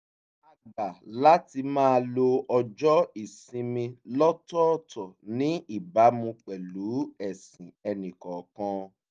a gbà láti máa lo ọjọ́ ìsinmi lọ́tọ̀ọ̀tọ̀ ní ìbámu pẹ̀lú ẹ̀sìn ẹnì kọ̀ọ̀kan